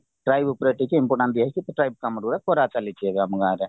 try book ରେ ଟିକେ important ଦିଅ ହେଇଚି କାମ ଗୁଡାକ କରା ଚାଲିଛି ଏବେ ଆମ ଗାଁରେ